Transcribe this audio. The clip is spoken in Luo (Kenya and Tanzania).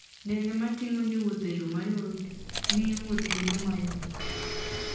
Ndege ma ting'o jowuoth e yo mayot, miyo wuoth bedo mayot.